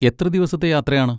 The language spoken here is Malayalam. എത്ര ദിവസത്തെ യാത്രയാണ്.